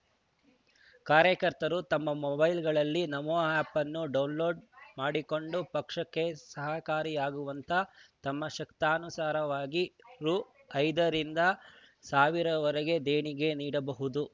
ಕಾರ್ಯಕರ್ತರು ತಮ್ಮ ಮೊಬೈಲ್‌ಗಳಲ್ಲಿ ನಮೋ ಆ್ಯಪ್‌ ಅನ್ನು ಡೌನ್‌ಲೋಡ್‌ ಮಾಡಿಕೊಂಡು ಪಕ್ಷಕ್ಕೆ ಸಹಕಾರಿಯಾಗುವಂತೆ ತಮ್ಮ ಶಕ್ತಿಯಾನುಸಾರವಾಗಿ ರು ಐದರಿಂದ ಸಾವಿರ ವರೆಗೆ ದೇಣಿಗೆ ನೀಡಬಹುದು